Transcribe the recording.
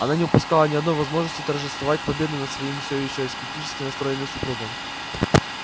она не упускала ни одной возможности торжествовать победу над своим все ещё скептически настроенным супругом